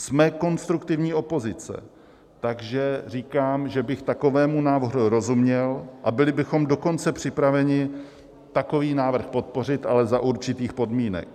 Jsme konstruktivní opozice, takže říkám, že bych takovému návrhu rozuměl, a byli bychom dokonce připraveni takový návrh podpořit, ale za určitých podmínek.